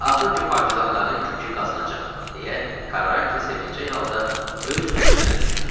Axır ki partizanların kökü qazınacaq, deyə Karranti sevincək halda öz-özünə düşünürdü.